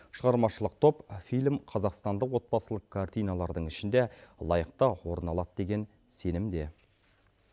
шығармашылық топ фильм қазақстандық отбасылық картиналардың ішінде лайықты орын алады деген сенімде